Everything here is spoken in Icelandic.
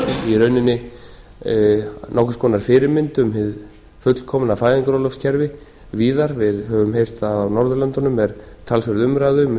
í rauninni nokkurs konar fyrirmynd um hið fullkomna fæðingarorlofskerfi víðar við höfum heyrt að á norðurlöndunum er talsverð umræða um